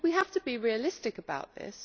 But we have to be realistic about this.